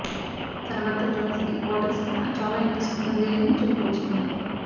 తన భర్త జోనస్ కి పాలిటిక్స్ పైన చాలా ఇంట్రెస్ట్ వుంది అని చెప్పుకొచ్చింది